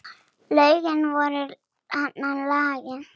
Lögin voru valin.